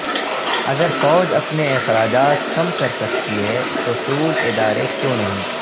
اگر فوج اپنے اخراجات کم کرسکتی ہے تو سول ادارے کیوں نہیں